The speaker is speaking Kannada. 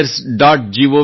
gov